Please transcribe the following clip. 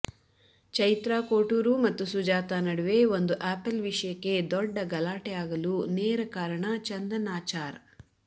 ಚೈತ್ರ ಕೋಟೂರು ಮತ್ತು ಸುಜಾತ ನಡುವೆ ಒಂದು ಆಪಲ್ ವಿಷಯಕ್ಕೆ ದೊಡ್ಡ ಗಲಾಟೆ ಆಗಲು ನೇರ ಕಾರಣ ಚಂದನ್ ಆಚಾರ್